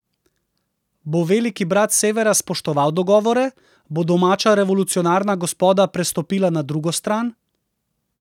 Bo veliki brat s severa spoštoval dogovore, bo domača revolucionarna gospoda prestopila na drugo stran?